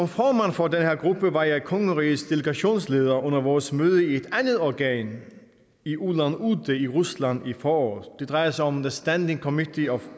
formand for den her gruppe var jeg kongerigets delegationsleder under vores møde i et andet organ i ulan ude i rusland i foråret det drejer sig om the standing committee of